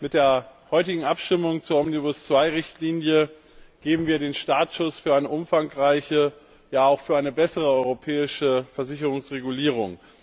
Mit der heutigen Abstimmung zur Omnibus II Richtlinie geben wir den Startschuss für eine umfangreiche, ja, auch für eine bessere europäische Versicherungsregulierung.